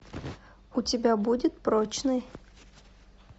у тебя будет прочный